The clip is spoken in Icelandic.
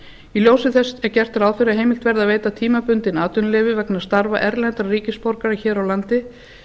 í ljósi þess er gert ráð fyrir að heimilt verði að veita tímabundin atvinnuleyfi vegna starfa erlendra ríkisborgara hér á landi